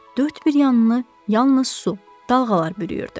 Dörd bir yanını yalnız su, dalğalar bürüyürdü.